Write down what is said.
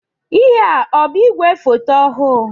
Ihé a ọ bụ igwe foto ọhụụ?